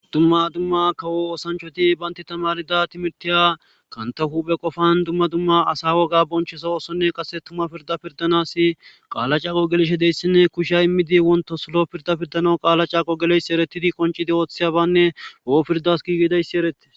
dumma dumma kawo osanchoti baynti tamarida timirtiya kantahu be qofan dumma dumma asa woga bonchesawosonne qase tuma pirda pirdanasi qaala caaqo geleshe deyssinne kushya immidi wonto solo pirda pirdano qaala caaqo geleysi eretidi qoncidi ooththiyabanne o7o pirdas gigedayssi erette